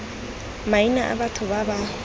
maina a batho ba ba